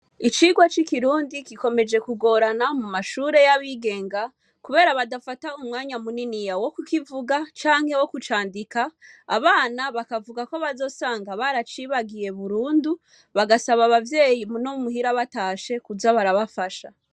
Icirwa c'ikirundi gikomeje kugorana mu mashure y'abigenga, kubera badafata umwanya munini ya wo kukivuga canke wo kucandika abana bakavuga ko bazosanga baracibagiye burundu bagasaba abavyeyi muno muhira batashe kuza barabafasha.